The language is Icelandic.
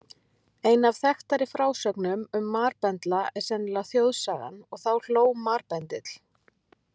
Ein af þekktari frásögnum um marbendla er sennilega þjóðsagan: Og þá hló marbendill.